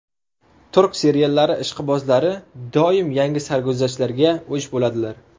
Turk seriallari ishqibozlari doim yangi sarguzashtlarga o‘ch bo‘ladilar.